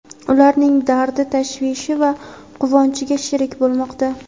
ularning dardi-tashvishi va quvonchiga sherik bo‘lmoqda.